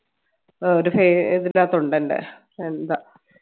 ആഹ് ഒരു ൽ ഇണ്ട് എന്താ